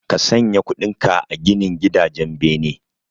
Ka sanya kudinka a ginin gidajen bene